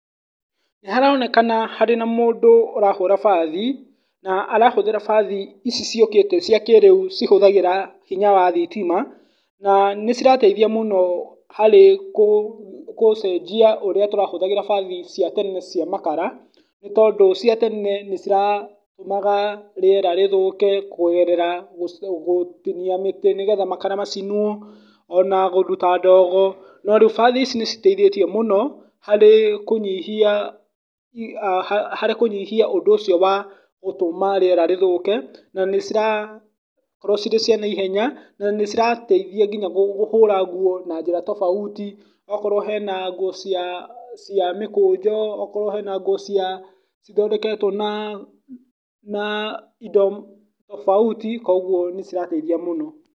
Nĩ haronekana harĩ na mũndũ ũrahũra bathi, na arahũthĩra bathi ici ciũkĩte cia kĩrĩu cihũthagĩra hinya wa thitima, na nĩ cirateithia mũno harĩ gũcenjia ũrĩa tũratũrahũthagĩra bathi cia tene cia makara, nĩ tondũ cia tene nĩ ciratũmaga rĩera rĩthũke kũgerera gũtinia mĩtĩ, nĩgetha makara macinwo, ona kũruta ndogo, no rĩu bathi ici nĩ citeithĩtie mũno harĩ kũnyihia, harĩ kũnyihia ũndũ ũcio wa gũtũma rĩera rĩthũke, na nĩ cirakorwo cirĩ cia naihenya , na nĩ cirateithia nginya kũhũra nguo na njĩra tofauti , ũkorwo hena nguo cia cia mĩkũnjo, okorwo hena nguo cia cithondeketwo na na indo tofauti , koguo nĩ cirateithia mũno.